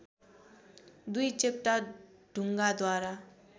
दुई चेप्टा ढुङ्गाद्वारा